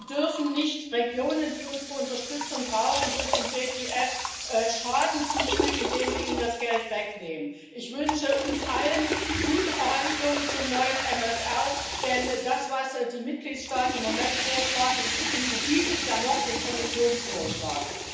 Wir dürfen Regionen, die unsere Unterstützung brauchen, durch den Fonds für einen gerechten Übergang keinen Schaden zufügen, indem wir ihnen das Geld wegnehmen. Ich wünsche uns allen gute Verhandlungen zum neuen MFR, denn das, was die Mitgliedstaaten im Moment vorschlagen, unterbietet ja noch den Kommissionsvorschlag.